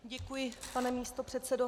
Děkuji, pane místopředsedo.